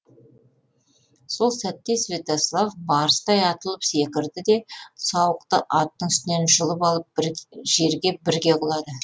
сол сәтте святослав барыстай атылып секірді де сауықты аттың үстінен жұлып алып жерге бірге құлады